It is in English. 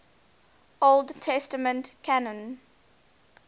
old testament canon